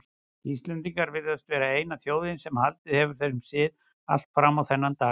Íslendingar virðast vera eina þjóðin sem haldið hefur þessum sið allt fram á þennan dag.